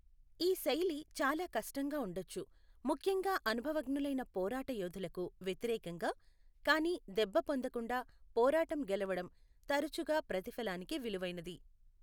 ఈ శైలి చాలా కష్టంగా ఉండొచ్చు, ముఖ్యంగా అనుభవజ్ఞులైన పోరాట యోధులకు వ్యతిరేకంగా, కానీ దెబ్బ పొందకుండా పోరాటం గెలవడం తరచుగా ప్రతిఫలానికి విలువైనది.